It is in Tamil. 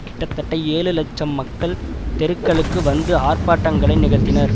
கிட்டத்தட்ட ஏழு இலட்சம் மக்கள் தெருக்களுக்கு வந்து ஆர்ப்பாட்டங்களை நிகழ்த்தினர்